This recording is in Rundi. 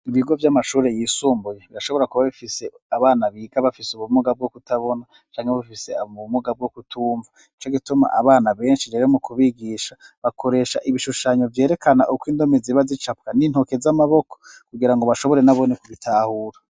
Ibigo vy'amashuri yisumbuye birashobora kuba bifise abana biga bafise ubumuga bwo kutabona canke bafise abo mu bumuga bwo kutumva nico gituma abana benshi rero mu kubigisha bakoresha ibishushanyo vyerekana uko indome ziba zicapwa n'intoke z'amaboko kugira ngo bashobore nabone kubitahura.